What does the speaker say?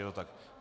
Je to tak?